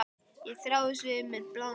Ég þráaðist við með bláan munn.